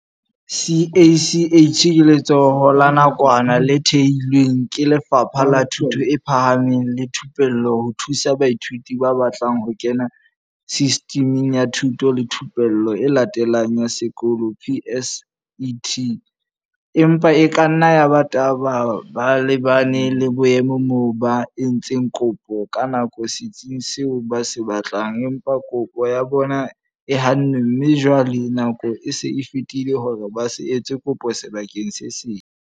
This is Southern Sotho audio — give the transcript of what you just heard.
CACH ke letsholo la nakwana le thehilweng ke Lefapha la Thuto e Phahameng le Thupello ho thusa baithuti ba batlang ho kena Sistiming ya Thuto le Thupello e Latelang ya Sekolo, PSET, empa e kanna yaba ba lebane le boemo moo ba, entseng kopo ka nako setsing seo ba se batlang, empa kopo ya bona e hannwe mme jwale nako e se e fetile hore ba etse kopo sebakeng se seng.